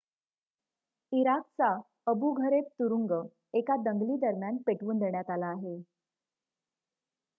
इराकचा Abu Ghraib तुरुंग एका दंगलीदरम्यान पेटवून देण्यात आला आहे